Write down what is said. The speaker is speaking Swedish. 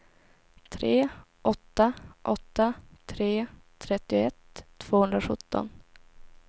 tre åtta åtta tre trettioett tvåhundrasjutton